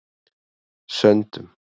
Söndum